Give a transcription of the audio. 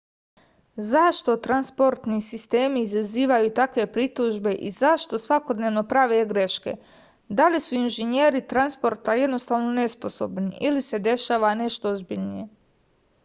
zašto transportni sistemi izazivaju takve pritužbe i zašto svakodnevno prave greške da li su inženjeri transporta jednostavno nesposobni ili se dešava nešto ozbiljnije